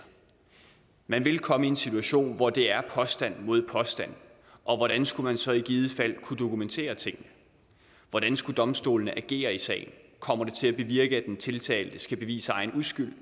man vil komme i en situation hvor det er påstand mod påstand og hvordan skulle man så i givet fald kunne dokumentere tingene hvordan skulle domstolene agere i sagen kommer det til at bevirke at den tiltalte skal bevise egen uskyld